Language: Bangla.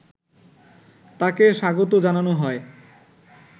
তাকে স্বাগত জানানো হয়